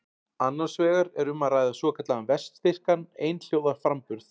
Annars vegar er um að ræða svokallaðan vestfirskan einhljóðaframburð.